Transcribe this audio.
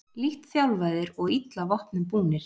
Lítt þjálfaðir og illa vopnum búnir